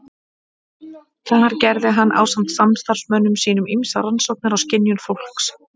Þar gerði hann ásamt samstarfsmönnum sínum ýmsar rannsóknir á skynjun fólks.